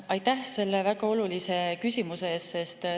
Aitäh selle väga olulise küsimuse eest!